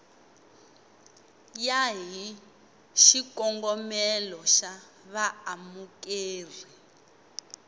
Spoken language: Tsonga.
ya hi xikongomelo xa vaamukeri